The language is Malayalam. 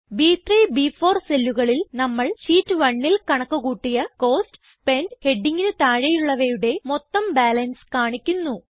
ബ്3 ബ്4 സെല്ലുകളിൽ നമ്മൾ ഷീറ്റ് 1ൽ കണക്ക് കൂട്ടിയ കോസ്റ്റ് സ്പെന്റ് ഹെഡിംഗിന് താഴെയുള്ളവയുടെ മൊത്തം ബാലൻസ് കാണിക്കുന്നു